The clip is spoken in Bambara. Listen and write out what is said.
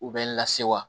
U bɛ lase wa